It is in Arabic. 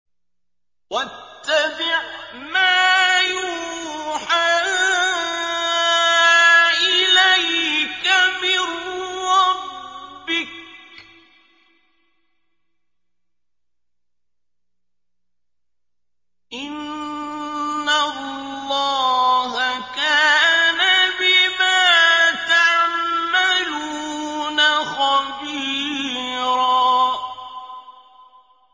وَاتَّبِعْ مَا يُوحَىٰ إِلَيْكَ مِن رَّبِّكَ ۚ إِنَّ اللَّهَ كَانَ بِمَا تَعْمَلُونَ خَبِيرًا